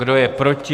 Kdo je proti?